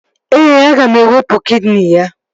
Ee, aga m ewepu kidini ya